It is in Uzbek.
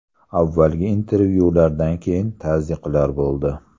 Avvalgi intervyulardan keyin tazyiqlar bo‘ldi.